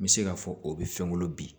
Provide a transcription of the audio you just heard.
N bɛ se k'a fɔ o bɛ fɛn wolo bi